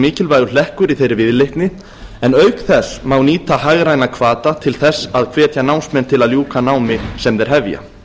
mikilvægur hlekkur í þeirri viðleitni en auk þess má nýta hagræna hvata til þess að hvetja námsmenn til að ljúka námi sem þeir hefja